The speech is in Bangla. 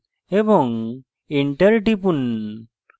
এবং enter টিপুন